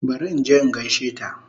Bari inje in gaishe ta